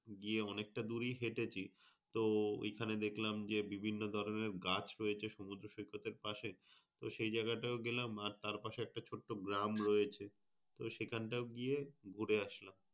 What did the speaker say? গিয়ে অনেকটা দুরই হেঁটেছি। তো ওইখানে দেখলাম যে বিভিন্ন ধরনের গাছ রয়েছে সমুদ্র সৈকতের পাশে। তো সেই জায়গাটাও গেলাম আর তার পাশে ছোট্ট একটা গ্রাম রয়েছে। তো সেখানটাও গিয়ে ঘুরে আসলাম।